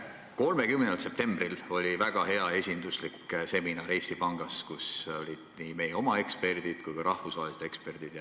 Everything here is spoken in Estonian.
30. septembril oli väga hea ja esinduslik seminar Eesti Pangas, kus olid kohal nii meie oma eksperdid kui ka rahvusvahelised eksperdid.